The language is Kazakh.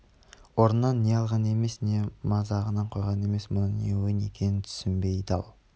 орнынан не алған емес не мазағын қойған емес мұның не ойын екенін түсінбей дал